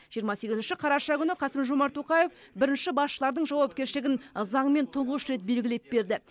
жиырма сегізінші қараша күні қасым жомарт тоқаев бірінші басшылардың жауапкершілігін заңмен тұңғыш рет белгілеп берді